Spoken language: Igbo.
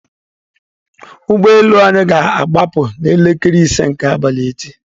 Ụgbọ elu anyị ga-agbaa pu n'elekere ise nke abalị echi.